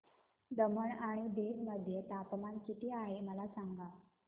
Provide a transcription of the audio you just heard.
दमण आणि दीव मध्ये तापमान किती आहे मला सांगा